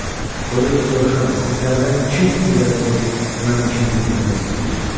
Odur ki, soruşuram, sizlərdən kim irəli durub mənim işimi bitirmək istəyir?